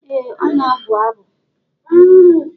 Ee ọ na-abụ abụ.